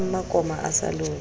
ya mmakoma a sa lobe